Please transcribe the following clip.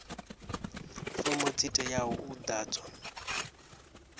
fomo dzi teaho u ḓadzwa